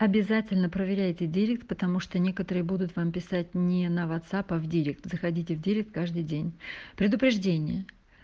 обязательно проверяйте директ потому что некоторые будут вам писать не на вацапа в директ заходите в директ каждый день предупреждение